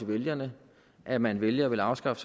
vælgerne at man vælger at afskaffe